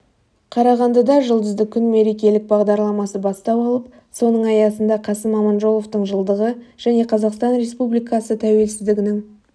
қарағандыда жұлдызды күн мерелік бағдарламасы бастау алып соның аясында қасым аманжоловтың жылдығы және қазақстан республикасы тәуелсіздігінің